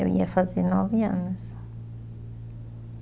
Eu ia fazer nove anos.